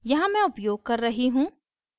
यहाँ मैं उपयोग कर रही हूँ